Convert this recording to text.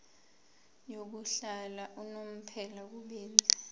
yokuhlala unomphela kubenzi